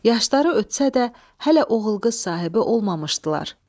Yaşları ötsə də, hələ oğul-qız sahibi olmamışdılar.